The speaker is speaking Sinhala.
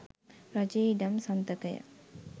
රජයේ ඉඩම් සන්තකය